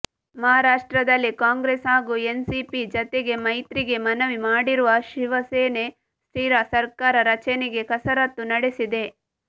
ಮಹಾರಾಷ್ಟ್ರದಲ್ಲಿ ಕಾಂಗ್ರೆಸ್ ಹಾಗೂ ಎನ್ಸಿಪಿ ಜತೆಗೆ ಮೈತ್ರಿಗೆ ಮನವಿ ಮಾಡಿರುವ ಶಿವಸೇನೆ ಸ್ಥಿರ ಸರ್ಕಾರ ರಚನೆಗೆ ಕಸರತ್ತು ನಡೆಸಿದೆ